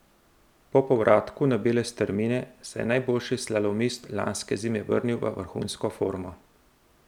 Po povratku na bele strmine se je najboljši slalomist lanske zime vrnil v vrhunsko formo.